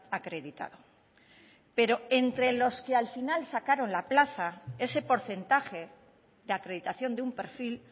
acreditado pero entre los que al final sacaron la plaza ese porcentaje de acreditación de un perfil